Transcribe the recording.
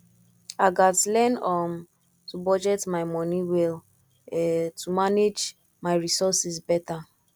i gats learn um to budget my money well um to manage my resources better